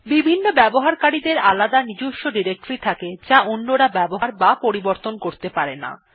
বিভিন্ন ব্যবহারকারী দের আলাদা নিজস্ব ডিরেক্টরী থাকে যা অন্যরা ব্যবহার অথবা পরিবর্তন করতে পারে না